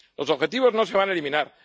Los objetivos no se van a eliminar.